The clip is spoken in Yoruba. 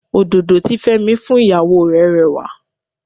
Òdòdó tí Fẹ́mi fún ìyàwó rè rẹwà.